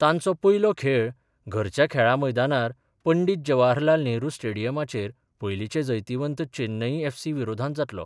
तांचो पयलो खेळ घरच्या खेळा मैदानार पंडीत जवाहरलाल नेहरू स्टेडियमाचेर पयलीचे जैतिवंत चैन्नईये एफसी विरोधांत जातलो.